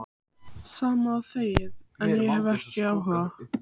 Sama og þegið, en ég hef ekki áhuga.